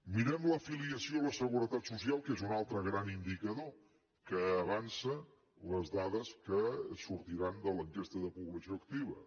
mirem l’afiliació a la seguretat social que és un altre gran indicador que avança les dades que sortiran de l’enquesta de població activa